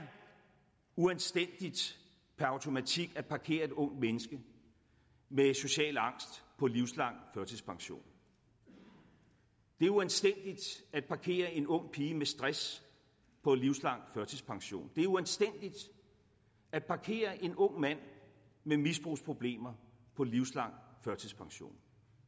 uanstændigt per automatik at parkere et ungt menneske med social angst på livslang førtidspension det er uanstændigt at parkere en ung pige med stress på livslang førtidspension det er uanstændigt at parkere en ung mand med misbrugsproblemer på livslang førtidspension